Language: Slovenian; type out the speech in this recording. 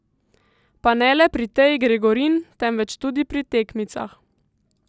Pa ne le pri Teji Gregorin, temveč tudi tekmicah.